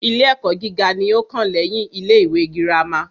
Ilé ẹ́kọ́ gíga ní o kàn lẹ́yin ilé ìwé gírámà.